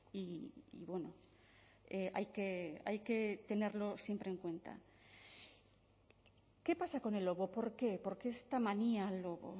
y hay que tenerlo siempre en cuenta qué pasa con el lobo por qué por qué esta manía al lobo